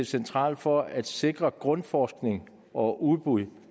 centralt for at sikre grundforskning og udbud